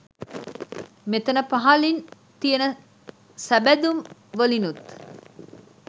මෙතන පහළින් තියන සබැඳුම් වලිනුත්